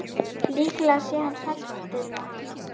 Líklega sé hann hræddur við hana.